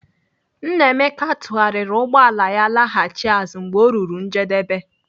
Nnaemeka tụgharịrị ụgbọala ya laghachi azụ mgbe o ruru njedebe.